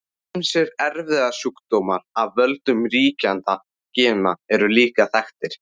Ýmsir erfðasjúkdómar af völdum ríkjandi gena eru líka þekktir.